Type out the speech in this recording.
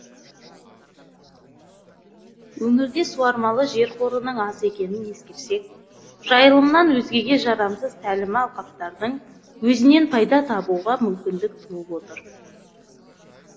өңірде суармалы жер қорының аз екенін ескерсек жайылымнан өзгеге жарамсыз тәлімі алқаптардың өзінен пайда табуға мүмкіндік туып отыр